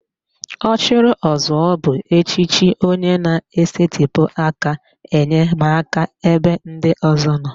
Ọchịrịọzụọ bụ echiche onye na-esetịpụ aka enyemaka ebe ndị ọzọ nọ